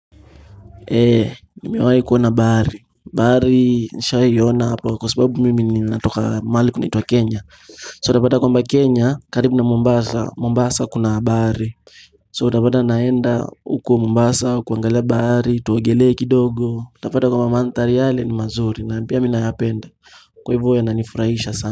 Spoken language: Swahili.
Eee, nimewai kuona bahari, bahari nisha iona hapa kwa sababu mimi natoka mahali kunaitwa Kenya So utapata kwamba Kenya, karibu na Mombasa, Mombasa kuna bahari So utapata naenda huko Mombasa, kuangalia bahari, tuogelee kidogo Utapata kwamba manthari yale ni mazuri na pia minayapenda Kwa hivo ya nanifurahisha sana.